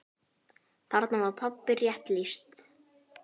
Þarna var pabba rétt lýst.